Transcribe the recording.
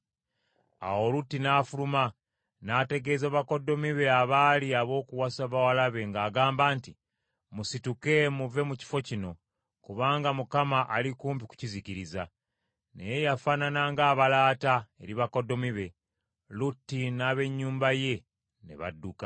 Awo Lutti n’afuluma n’ategeeza bakoddomi be abaali ab’okuwasa bawala be ng’agamba nti, “Musituke, muve mu kifo kino, kubanga Mukama ali kumpi kukizikiriza.” Naye yafaanana ng’abalaata eri bakoddomi be. Lutti n’ab’ennyumba ye ne badduka.